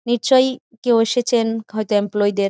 নিচ্ছই কেউ এসেছেন হয়তো এমপ্লয়ী -দের।